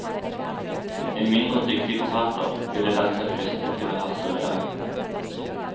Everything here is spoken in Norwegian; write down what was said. En mindre dyktig forfatter ville latt seg friste til å harselere.